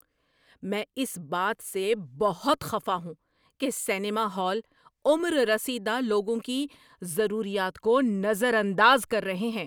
میں اس بات سے بہت خفا ہوں کہ سنیما ہال عمر رسیدہ لوگوں کی ضروریات کو نظر انداز کر رہے ہیں۔